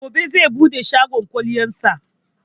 Gobe zai buɗe shagon kwalliyar sa